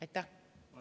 Aitäh!